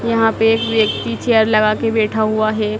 यहां पे एक व्यक्ति चेयर लगा के बैठा हुआ है।